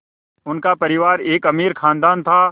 उनका परिवार एक अमीर ख़ानदान था